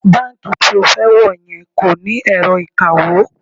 Báǹkì tí o fẹ́ wọ̀ yẹn kò ní ẹ̀rọ ìkawó